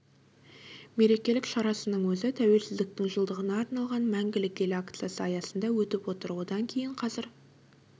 мерекелік шарасының өзі тәуелсіздіктің жылдығына арналған мәңгілік ел акциясы аясында өтіп отыр одан кейін қазір